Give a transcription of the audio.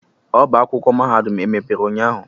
ọba akwụkwọ mahadum emepere ụnyahụ?